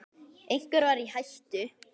Einhver var í hættu.